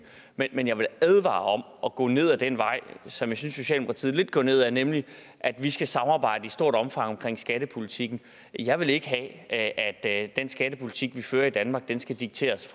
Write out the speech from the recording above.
men jeg vil advare om at gå ned ad den vej som jeg synes socialdemokratiet lidt går ned ad nemlig at vi skal samarbejde i stort omfang omkring skattepolitikken jeg vil ikke have at den skattepolitik vi fører i danmark skal dikteres